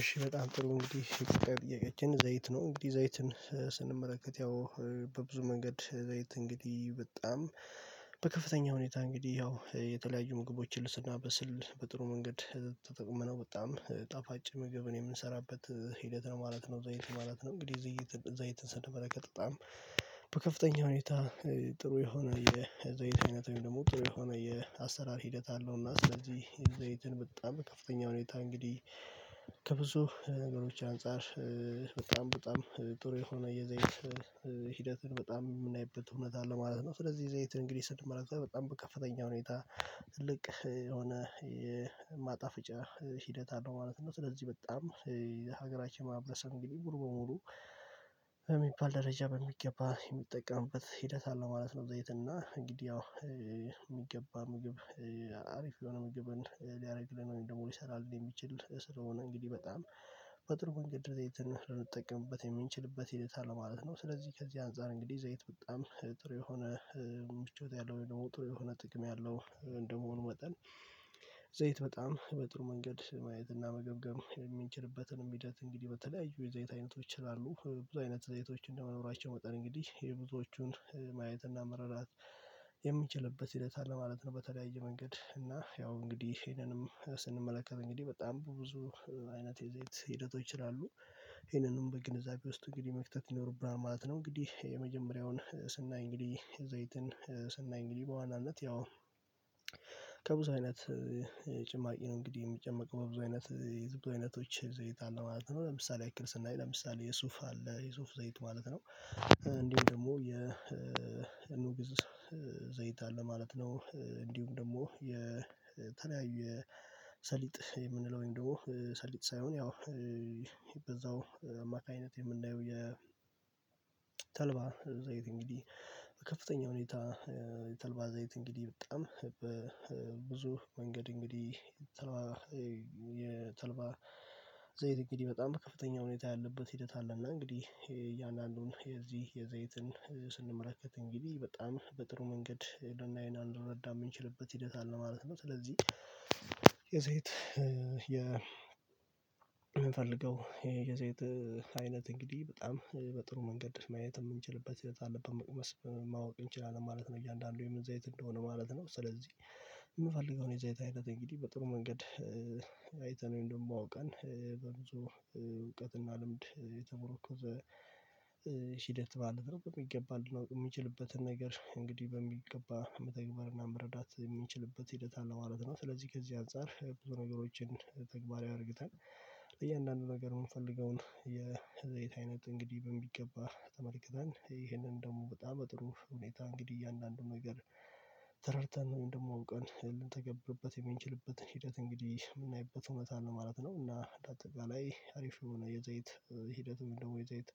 እሺ በጣም ጥሩ እንግዲህ ጥያቂያችን ዘይት ነው እንግዲህ ዘይትን ስንመለከት ያው በብዙ መንገድ ዘይት እንግዲህ በጣም በከፍተኛ ሁኔታ እንግዲህ ያው የተለያዩ ምግቦችን ስናበስል በጥሩ መንገድ ተጠቅመነው በጣም ጣፋጭ ምግብን የምንሰራበት ሂደት ነው ማለት ነው። ዘይት ማለት ነው እንግዲህ ዝይት ዘይትን ስንመለከት በጣም በከፍተኛ ሁኔታ ጥሩ የሆነ የዘይት አይነት አይደለም ደግሞ ጥሩ የሆነ የአሰራር ሂደት አለው እና ስለዚህ ዘይትን በጣም ከፍተኛ ሁኔታ እንግዲህ ከብዙ ነገሮች አንፃር በጣም በጣም ጥሩ የሆነ የዘይት ሂደትን በጣም የምናይበት እውነት አለ ማለት ነው። ስለዚህ ዘይትን እንግዲህ ስንመለከት በጣም በከፍተኛው ሁኔታ ልቅ የሆነ የማጣፍጫ ሂደት አለው ማለት ነው። ስለዚህ በጣም ሀገራችን ማህበረሰብ እንግዲህ ሙሉ በሙሉ አይሚን ደረጃ በሚገባ የሚጠቀምበት ሂደት አለ ማለት ነው። ዘይት እና እንግዲህ ያው የሚገባ ምግብ አሪፍ የሆነ ምግብን ሊያደርግልን ደግሞ ሊሰራን የሚችሉት ስለሆነ እንግዲህ በጣም በጥሩ መንገድ ዘይትን ልንጠቀምበት የምንችልበት ሂደት አለ ማለት ነው። ስለዚህ ከዚህ አንፃር እንግዲህ ዘይት በጣም ጥሩ የሆነ ምቾት ያለው ወይ ደግሞ ጥሩ የሆነ ጥቅም ያለው እንደመሆኑ መጠን። ዘይት በጣም በጥሩ መንገድ ማየትና መገብገብ የሚንችልበትንም የሚደት እንግዲህ በተለያዩ የዘይት አይነቶች ላላሉ ብዙ አይነት ዘይቶች እንደመኖራቸው መጠን እንግዲህ የብዙዎቹን ማየትና መረዳት የሚችልበት ሂደት አለ ማለት ነው። በተለያየ መንገድ እና ያው እንግዲህ ይሄንንም ስንመለከት እንግዲህ በጣም ብዙ አይነት የዘይት ሂደቶች ስላሉ ይሄንንም በግንዛቤ ውስጥ እንግዲህ መክተት ይኖርብናል ማለት ነው። እንግዲህ የመጀመሪያውን ስናይ እንግዲህ ዘይትን ስናይ እንግዲህ በዋናነት ያው ከብዙ አይነት ጭማቂ ነው እንግዲህ የሚጨመቅ በብዙ አይነት የብዙ አይነቶች ዘይት አለ ማለት ነው። ለምሳሌ ያክል ስናይ ለምሳሌ የሱፍ አለ የሱፍ ዘይት ማለት ነው እንዲሁም ደግሞ የ ኑግ ዘይት አለ ማለት ነው። እንዲሁም ደግሞ የተለያየ ሰሊጥ የምንለው ወይም ደግሞ ሰሊጥ ሳይሆን ያው በዛው አማካኝነት የምናየው የተልባ ዘይት እንግዲህ ከፍተኛ ሁኔታ የተልባ ዘይት እንግዲህ በጣም በብዙ መንገድ እንግዲህ። የተልባ ዘይት እንግዲህ በጣም በከፍተኛ ሁኔታ ያለበት ሂደት አለ እና እንግዲህ እያንዳንዱን የዚህ የዘይትን ስንመለከት እንግዲህ በጣም በጥሩ መንገድ ልናይ እና ልንረዳ የምንችልበት ሂደት አለ ማለት ነው። ስለዚህ የሴት የ የምንፈልገው የየዘይት አይነት እንግዲህ በጣም በጥሩ መንገድ ማየት የምንችልበት ህይወት አለ በመቅመስ ማወቅ እንችላለን ማለት ነው። እያንዳንዱ የምን ዘይት እንደሆነ ማለት ነው ስለዚህ የምፈልገውን የዘይት አይነት እንግዲህ በጥሩ መንገድ አይተን ውይም ደግሞ አውቀን በብዙ እውቀት እና ልምድ የተሞረከዘ ሂደት ማለት ነው። በሚገባ ልናውቅ የሚችልበትን ነገር እንግዲህ በሚገባ መተግበር እና መረዳት የምንችልበት ሂደት አለ ማለት ነው። ስለዚህ ከዚህ አንፃር ብዙ ነገሮችን ተግባራዊ አድርግተን እያንዳንዱ ነገር የምፈልገውን የዘይት አይነት እንግዲህ በሚገባ ተመልክተን ይህንን ደግሞ በጣም በጥሩ ሁኔታ እንግዲህ እያንዳንዱን ነገር ተረድተን ወይም ደግሞ አውቀን የምንተገብርበት ምንችልበት ሂደት እንግዲህ የምናይበት እውነት ነው ማለት ነው። እና አጠቃላይ አሪፍ የሆነ የዘይት ሂደትም ደግሞ የዘይት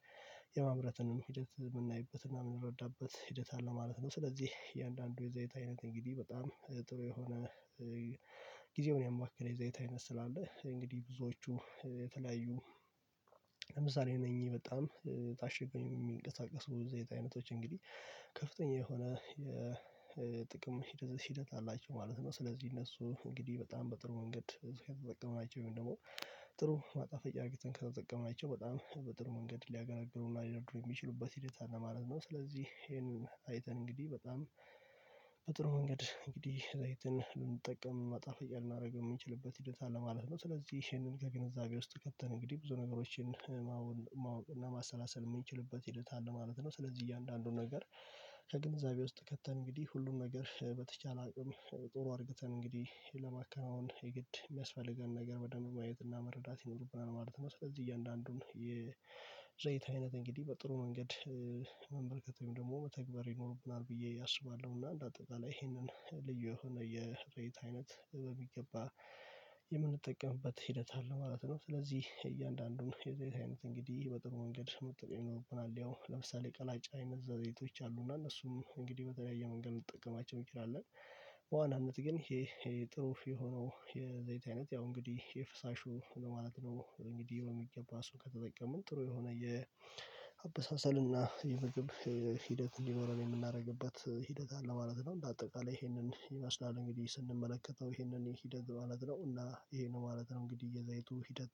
የማምረትንም ሂደት የምናይበት እና የምንረዳበት ሂደት አለ ማለት ነው። ስለዚህ እያንዳንዱ የዘይት አይነት እንግዲህ በጣም ጥሩ የሆነ ጊዜውን ያማከለ የዘይት አይነት ስላለ እንግዲህ ብዙዎቹ የተለያዩ ለምሳሌ እነኚህ በጣም ታሽጎ የሚንቀሳቀሱ የዘይት አይነቶች እንግዲህ ከፍተኛ የሆነ የጥቅም ሂደት ሂደት አላቸው ማለት ነው። ስለዚህ እነሱ እንግዲህ በጣም በጥሩ ወንገድ ከተጠቀምናቸው ወይም ደግሞ ጥሩ ማጣፈጫ አድርገተን ከተጠቀመናቸው በጣም በጥሩ መንገድ ሊያገለግሉ እና ሊያደርጉ የሚችሉበት ሂደት ነው ማለት ነው። ስለዚህ ይሄን አይተን እንግዲህ በጣም በጥሩ መንገድ እንግዲህ ለይተን ልንጠቀም ማጣፈጫ ልናረግ የምንችልበት ሂደት አለ ማለት ነው። ስለዚህ ይሄንን ከግንዛቤ ውስጥ ከተን እንግዲህ ብዙ ነገሮችን ማወቅ ማሰላሰል የምንችልበት ሂደት አለ ማለት ነው። ስለዚህ እያንዳንዱን ነገር ከግንዛቤ ውስጥ ከተን እንግዲህ ሁሉም ነገር በተቻለ አቅም ጥሩ አድርግተን እንግዲህ ለማከናወን የግድ የሚያስፈልገን ነገር በደንብ ማየትና መረዳት ይኖርብናል ማለት ነው። ስለዚህ እያንዳንዱን የዘይት አይነት እንግዲህ በጥሩ መንገድ መመልከት ወይም ደግሞ መተግበር ይኖርብናል ብዬ አስባለሁ። እና እንደ አጠቃላይ ይሄንን ልዩ የሆነ የዘይት አይነት በሚገባ የምንጠቀምበት ሂደት አለ ማለት ነው። ስለዚህ እያንዳንዱን የዘይት አይነት እንግዲህ በጥሩ መንገድ መጠቀም ይኖርብናል ያው ለምሳሌ ቀላጭ አይነት ዘይቶች አሉ እና እነሱም እንግዲህ በተለያየ መንገድ ልንጠቀማቸው እንችላለን። በዋናነት ግን ይሄ ጥሩ የሆነው የዘይት አይነት ያው እንግዲህ የፍሳሹ ማለት ነው። እንግዲህ በሚገባ እሱን ከተጠቀምን ጥሩ የሆነ የአበሳሰል እና የምግብ ሂደት እንዲኖረን የምናደርግበት ሂደት አለ ማለት ነው። እንደ አጠቃላይ ይሄንን ይመስላል እንግዲህ ስንመለከተው ይሄንን ሂደት ማለት ነው እና ይሄ ነው ማለት ነው። እንግዲህ የዘይቱ ሂደት